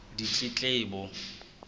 ditletlebo